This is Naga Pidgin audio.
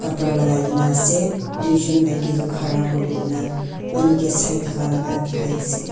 pra lakai kaena ase tujon maki toh khara kurikaena manu kae Sai thaka la dikhiase.